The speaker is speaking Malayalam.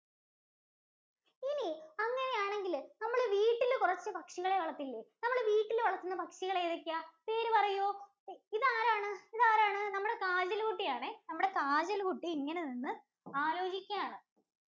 ഇനി അങ്ങനെ ആണെങ്കിൽ നമ്മൾ വീട്ടിൽ കുറച്ച് പക്ഷികൾ വളർത്തില്ലേ? നമ്മൾ വീട്ടിൽ വന്നെത്തുന്ന പക്ഷികൾ ഏതൊക്കെയാ? പേര് പറയൂ ഇതാരാണ്? ഇതാരാണ്? നമ്മുടെ കാജല് കുട്ടിയാണ്. നമ്മുടെ കാജല് കുട്ടി ഇങ്ങനെ നിന്ന് ആലോചിക്കുകയാണ്.